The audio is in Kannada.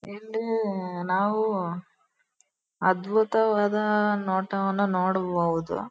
ಇಲ್ಲಿ ನಾವು ಅದ್ಭುತವಾದ ನೋಟವನ್ನು ನೋಡಬಹುದು.